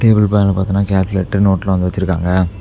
Table மேல பாத்தோன்னா கால்குலேட்டு நோட்லா வந்து வெச்சிருக்காங்க.